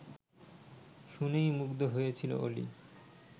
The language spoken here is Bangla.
শুনেই মুগ্ধ হয়েছিল অলি